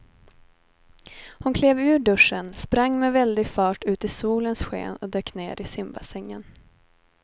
Hon klev ur duschen, sprang med väldig fart ut i solens sken och dök ner i simbassängen.